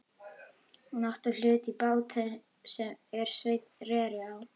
Hún átti hlut í bát þeim er Sveinn reri á.